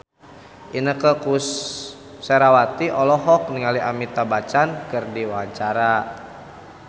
Inneke Koesherawati olohok ningali Amitabh Bachchan keur diwawancara